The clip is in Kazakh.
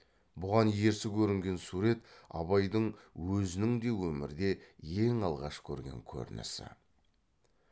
бұған ерсі көрінген сурет абайдың өзінің де өмірде ең алғаш көрген көрінісі